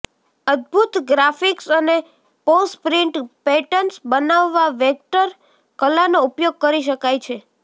અદ્ભુત ગ્રાફિક્સ અને posh print pattern બનાવવા વેક્ટર કલાનો ઉપયોગ કરી શકાય છે